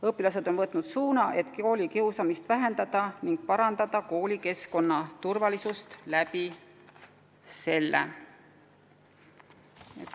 Õpilased on võtnud suuna koolikiusamise vähendamiseks ning soovivad koolikeskkonna turvalisust parandada just selle abil.